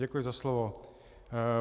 Děkuji za slovo.